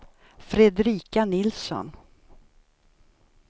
Fredrika Nilsson